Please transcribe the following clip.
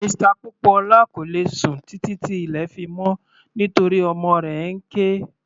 Mr Popoola kò lè sùn títí tí ilẹ̀ fi mọ́ nítorí ọmọ rẹ̀ ń ké.